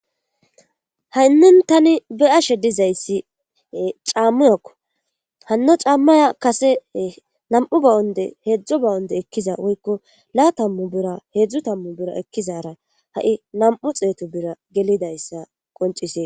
haynin tani be'ashe dizayssi caammuyakko hanno caammaya kase nam7u ba7onde heedzdzo ba7onde ekkiza woykko laa tammu bira heedzdzu tammu bira ekkizara ha7i nam'u xeeto bira gelidayssa qoncisee